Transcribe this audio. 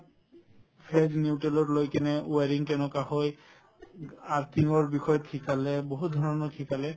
phase neutral ত লৈ কিনে wiring কেনেকুৱা হয় earthing ৰ বিষয়ত শিকালে বহুত ধৰণৰ শিকালে